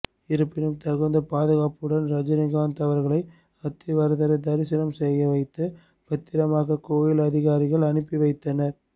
இருப்பினும் தகுந்த பாதுகாப்புடன் ரஜினிகாந்த் அவர்களை அத்தி வரதரை தரிசனம் செய்ய வைத்து பத்திரமாக கோவில் அதிகாரிகள் அனுப்பி வைத்தனர்